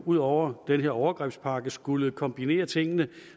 ud over den her overgrebspakke skulle kombinere tingene